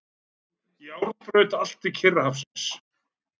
Járnbraut allt til Kyrrahafsins.